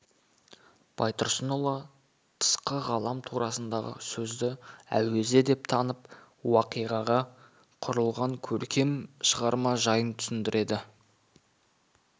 байтұрсынұлы тысқы ғалам турасындағы сөзді әуезе деп танып уақиғаға құрылған көркем шығарма жайын түсіндіреді